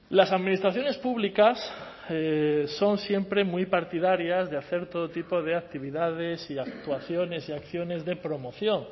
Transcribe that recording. las administraciones públicas son siempre muy partidarias de hacer todo tipo de actividades y actuaciones y acciones de promoción